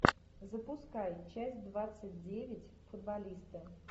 запускай часть двадцать девять футболисты